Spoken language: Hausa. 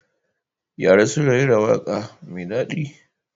Yara sun rera wata waƙa mai daɗi.